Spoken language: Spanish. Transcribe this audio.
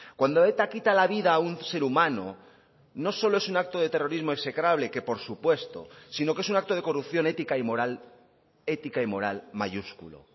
cuando eta quita la vida a un ser humano no solo es un acto de terrorismo execrable que por supuesto sino que es un acto de corrupción ética y moral ética y moral mayúsculo